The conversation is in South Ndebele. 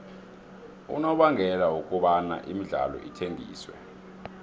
unobangela wokobana imidlalo ithengiswe